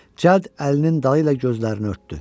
Cəld əlinin dalı ilə gözlərini örtdü.